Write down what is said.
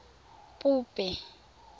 pope